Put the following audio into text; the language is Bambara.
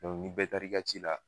ni bɛ taar'i ka ci la